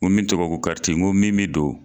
N go min tɔgɔ ye ko karice nko min be don